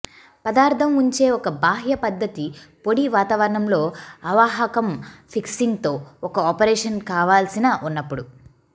పదార్థం ఉంచే ఒక బాహ్య పద్ధతి పొడి వాతావరణంలో అవాహకం ఫిక్సింగ్ తో ఒక ఆపరేషన్ కావాల్సిన ఉన్నప్పుడు